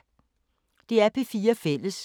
DR P4 Fælles